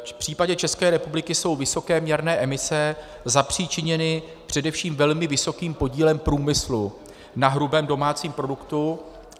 V případě České republiky jsou vysoké měrné emise zapřičiněny především velmi vysokým podílem průmyslu na hrubém domácím produktu.